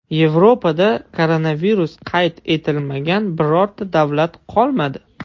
Yevropada koronavirus qayd etilmagan birorta davlat qolmadi.